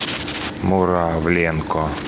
муравленко